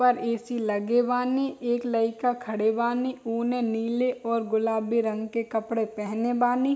पर ए.सी. लगे बानी एक लईका खड़े बानी नीले गुलाबी कपड़े पहने बानी।